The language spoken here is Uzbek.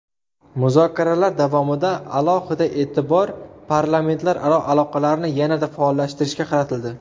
Muzokaralar davomida alohida e’tibor parlamentlararo aloqalarni yanada faollashtirishga qaratildi.